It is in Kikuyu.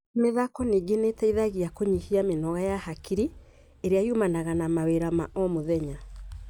Mĩthako ningĩ nĩ ĩteithagia kũnyihia mĩnoga ya hakiri ĩrĩa yumanaga na mawĩra wa o mũthenya.